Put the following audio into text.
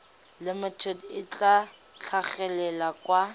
limited le tla tlhagelela kwa